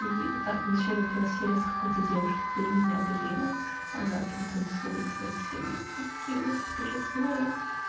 и там вначале была серия с какой-то девушкой по имени аделина она там танцует с настей каменских тыры-пыры